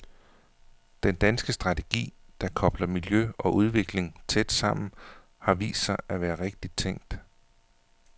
Den danske strategi, der kobler miljø og udvikling tæt sammen, har vist sig at være rigtigt tænkt.